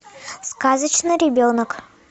сказочный ребенок